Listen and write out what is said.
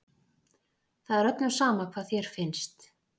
Það er öllum sama hvað þér finnst.